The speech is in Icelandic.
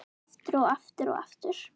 Aftur og aftur og aftur.